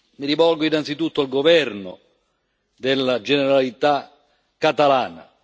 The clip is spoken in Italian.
Mi rivolgo, innanzitutto, al governo della Generalitat catalana.